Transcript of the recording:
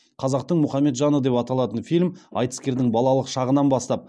қазақтың мұхамеджаны деп аталатын фильм айтыскердің балалық шағынан бастап